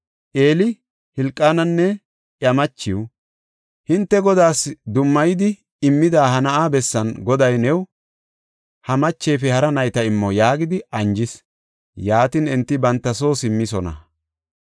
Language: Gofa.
Eeli Hilqaananne iya machiw, “Hinte Godaas dummayidi immida ha na7aa bessan Goday new ha machefe hara nayta immo” yaagidi anjees; yaatin, enti banta soo simmoosona.